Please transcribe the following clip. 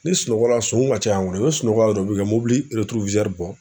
N'i sunɔgɔla yan sonw ka ca yan i bɛ sunɔgɔ yan dɔrɔn u bi ka bɔ.